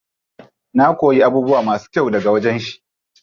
Na koyi abubuwa masu kyau daga wajen shi.